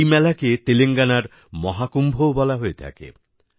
এই মেলাকে তেলেঙ্গানার মহাকুম্ভও বলা হয়ে থাকে